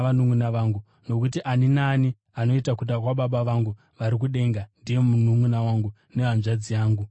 Nokuti ani naani anoita kuda kwaBaba vangu vari kudenga ndiye mununʼuna wangu nehanzvadzi yangu, namai vangu.”